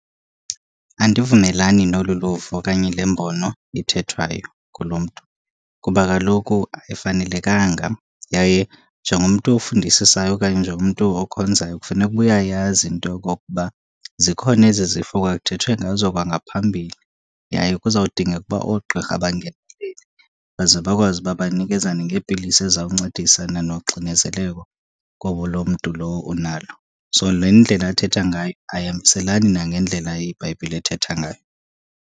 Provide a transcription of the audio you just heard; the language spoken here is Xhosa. Andivumelani nolu luvo okanye le mbono ithethwayo kulo mntu. Kuba kaloku ayifanelekanga yaye njengomntu ofundisisayo okanye njengomntu okhonzayo kufuneka uba uyayazi into yokokuba zikhona ezi zifo kwakuthethwe ngazo kwangaphambili. Yaye kuzawudingeka uba oogqirha bangenelele baze bakwazi uba banikezane ngeepilisi ezizawuncedisana noxinezeleko loo mntu lowo onalo. So, le ndlela athetha ngayo ayihambiselani nangendlela iBhayibhile ethetha ngayo.